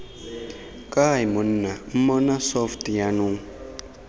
kae monna mmona soft jaanong